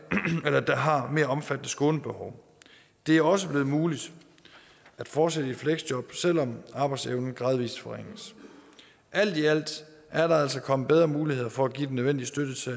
omfattende skånebehov det er også blevet muligt at fortsætte i fleksjob selv om arbejdsevnen gradvis forringes alt i alt er der altså kommet bedre muligheder for at give den nødvendige støtte til